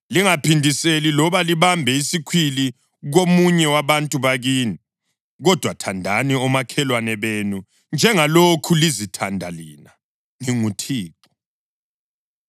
Lingaphindiseli loba libambe isikhwili komunye wabantu bakini, kodwa thandani omakhelwane benu njengalokhu lizithanda lina. NginguThixo.